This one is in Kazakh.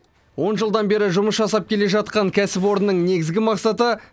он жылдан бері жұмыс жасап келе жатқан кәсіпорынның негізгі мақсаты